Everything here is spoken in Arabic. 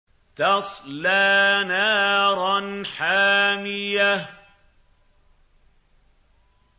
تَصْلَىٰ نَارًا حَامِيَةً